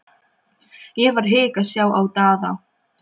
Ekki var hik að sjá á Daða.